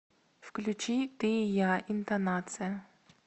включи ты и я интонация